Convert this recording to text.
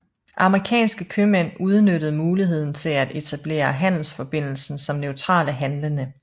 Amerikanske købmænd udnyttede muligheden til at etablere handelsforbindelsen som neutrale handlende